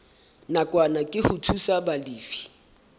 nakwana ke ho thusa balefi